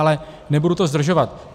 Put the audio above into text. Ale nebudu to zdržovat.